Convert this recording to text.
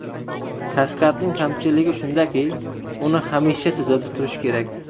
Kaskadning kamchiligi shundaki, uni hamisha tuzatib turish kerak.